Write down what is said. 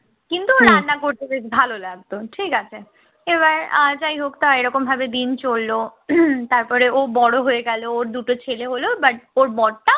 কিন্তু ওর রান্না করতে বেশ ভালো লাগতো ঠিক আছে, এবার আর যাই হোক তা এই ভাবে দিন চলল তারপরে ও বড় হয়ে গেল ওর দুটো ছেলে হল but ওর বড় টা